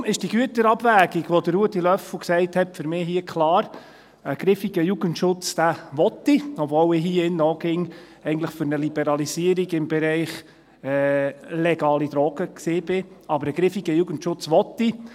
Daher ist die Güterabwägung, die Ruedi Löffel genannt hat, für mich hier klar: Ich will einen griffigen Jugendschutz, obwohl ich hier in diesem Saal auch immer für eine Liberalisierung im Bereich der legalen Drogen war, aber einen griffigen Jugendschutz will ich.